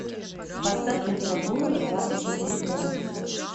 поставь температуру на двадцать четыре градуса